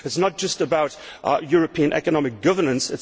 It is not just about European economic governance.